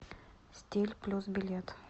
стиль плюс билет